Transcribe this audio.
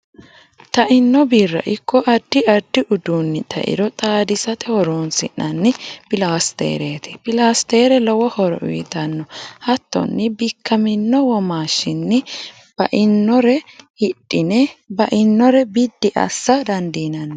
taino birra ikko addi addi udunni tairo xaadisate horoonsi'nanni pilastereti. pilastere lowo horo uyitanno. hattonni bikkamino womaashinni bainore hidhine bainore biddi assa dandinanni.